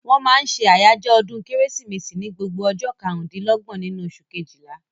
Wọ́n máa n ṣe àjọyọ̀ ọdún kérésìmesì ní gbogbo ọjọ́ karùn-dín-lọ́gbọ̀n nínú oṣù kejìlá